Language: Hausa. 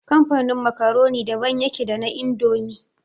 Kamfanin makaroni daban yake da na indomi